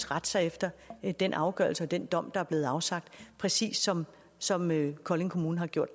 rette sig efter den afgørelse og den dom der er blevet afsagt præcis som som kolding kommune har gjort